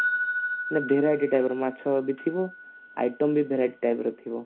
ମାନେ variety type ର ମାଛ ବି ଥିବ item ବି variety type ର ଥିବ